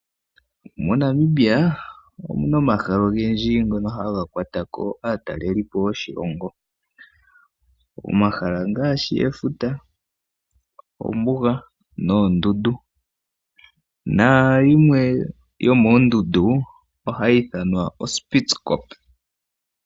MoNamibia omuna omahala ogendji ngono haga kwata ko aataleli po yoshilongo. Omahala ngaashi efuta, ombuga noondundu, nayimwe yomoondundu ohayi ithanwa oSpeed Skop.